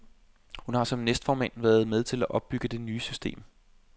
Hun har som næstformand været med til at opbygge det nye system.